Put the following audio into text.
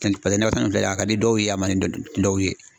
Paseke nɔkɔ fɛn nin filɛ ni ye, a ka di dɔw ye, a man di dɔw ye.